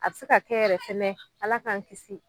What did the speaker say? A bi se ka kɛ yɛrɛ fɛnɛ Ala k'an kisi